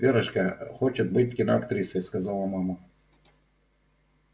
верочка хочет быть киноактрисой сказала мама